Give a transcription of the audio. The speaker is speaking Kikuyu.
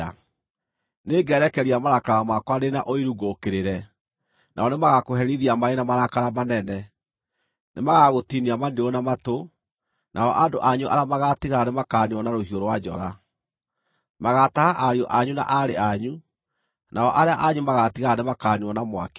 Nĩngerekeria marakara makwa ndĩ na ũiru ngũũkĩrĩre, nao nĩmagakũherithia marĩ na marakara manene. Nĩmagagũtinia maniũrũ na matũ, nao andũ anyu arĩa magaatigara nĩmakaniinwo na rũhiũ rwa njora. Magaataha ariũ anyu na aarĩ anyu, nao arĩa anyu magaatigara nĩmakaniinwo na mwaki.